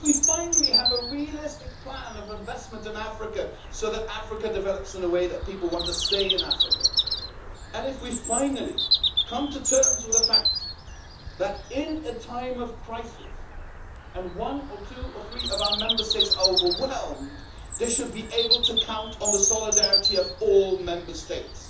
if we finally have a realistic plan of investment in Africa so that Africa develops in a way that makes people want to stay in Africa and if we finally come to terms with the fact that in a time of crisis, and one or two or three of our Member States are overwhelmed, they should be able to count on the solidarity of all Member States.